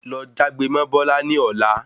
Lọ jágbe mó Bọla ní ọlá